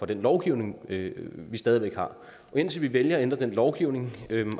den lovgivning vi stadig væk har og indtil vi vælger at ændre den lovgivning